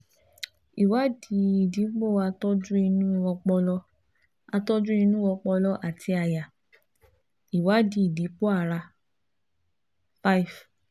ìwádìí ìdìpọ̀ àtọ́jú inú ọpọlọ àtọ́jú inú ọpọlọ àti àyà ìwádìí ìdìpọ̀ ara [csfive